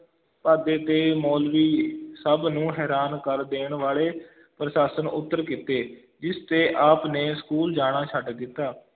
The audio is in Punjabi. ਪਾਧੇ ਤੇ ਮੌਲਵੀ ਸਭ ਨੂੰ ਹੈਰਾਨ ਕਰ ਦੇਣ ਵਾਲੇ ਪ੍ਰਸ਼ਨ-ਉੱਤਰ ਕੀਤੇ, ਜਿਸ ਤੇ ਆਪ ਨੇ school ਜਾਣਾ ਛੱਡ ਦਿੱਤਾ।